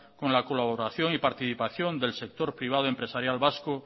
con la colaboración y participación del sector privado empresarial vasco